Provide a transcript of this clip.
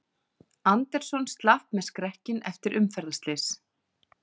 Anderson slapp með skrekkinn eftir umferðarslys